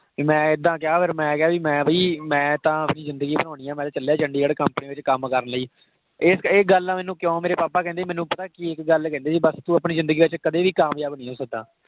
ਵੀ ਮੈਂ ਇੱਦਾਂ ਕਿਹਾ ਫਿਰ ਮੈਂ ਕਿਹਾ ਮੈਂ ਬਈ ਮੈਂ ਤਾਂ ਆਪਣੀ ਜਿੰਦਗੀ ਬਣਾਉਣੀ, ਮੈਂ ਤਾਂ ਚੱਲਿਆ ਚੰਡੀਗੜ੍ਹ company ਵਿੱਚ ਕੱਮ ਕਰਨ ਲਈ। ਇਹ ਗੱਲ ਨੇ ਮੈਨੂੰ ਕਿਉਂ ਮੇਰੇ papa ਕਹਿੰਦੇ ਸੀ, ਮੈਨੂੰ ਪਤਾ ਕਿ ਇੱਕ ਗੱਲ ਕਹਿੰਦੇ ਸੀ ਬੱਸ ਤੂੰ ਆਪਣੀ ਜਿੰਦਗੀ ਵਿਚ ਕਦੇ ਵੀ ਕਾਮਯਾਬ ਨਹੀਂ ਹੋ ਸਕਦਾ।